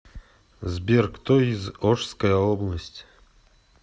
сбер кто из ошская область